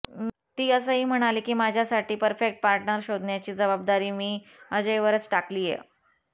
ती असंही म्हणाली की माझ्यासाठी परफेक्ट पार्टनर शोधण्याची जबाबदारी मी अजयवरच टाकलीय